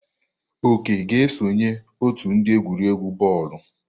Oke ga-esonye ótù ndi egwuregwu bọọlụ.